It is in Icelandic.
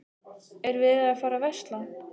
Er verið að fara að versla?